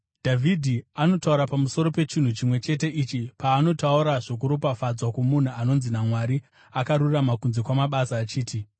Dhavhidhi anotaura pamusoro pechinhu chimwe chete ichi paanotaura zvokuropafadzwa kwomunhu anonzi naMwari akarurama kunze kwamabasa, achiti: